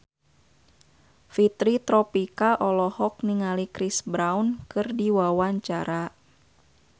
Fitri Tropika olohok ningali Chris Brown keur diwawancara